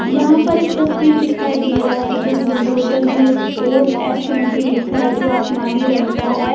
यहाँ पर एक तस्वीर दिखाई दे रहा है जो बुलडोज़न में स्कोट एफ लिखा है जो आसमानी रंग का है।